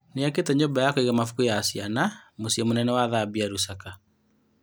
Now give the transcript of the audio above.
Nĩ akĩĩte nyũmba ya kũiga mabuku ya ciana mũciĩ mũnene wa Thambia, Rusaka.